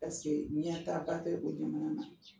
ɲɛtaaba bɛ o jamana na